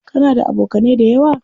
Kana da abokanai dayawa?